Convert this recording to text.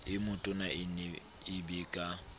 e metona e be ka